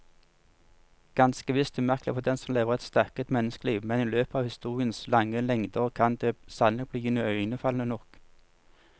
Ganske visst umerkelig for den som lever et stakket menneskeliv, men i løpet av historiens lange lengder kan det sannelig bli iøynefallende nok.